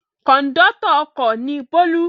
Kọ̀ńdọ́tọ̀ ọkọ̀ ni Bólú.